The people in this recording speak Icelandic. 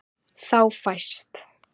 Þá fæst